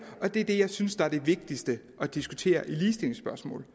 og det er det jeg synes er det vigtigste at diskutere i ligestillingsspørgsmål